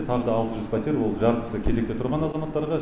тағы да алты жүз пәтер ол жартысы кезекте тұрған азаматтарға